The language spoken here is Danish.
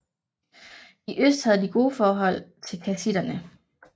I øst havde de gode forhold til kassitterne